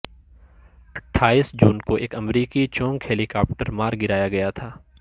اٹھائیس جون کو ایک امریکی چنوک ہیلی کاپٹر مار گرایا گیا تھا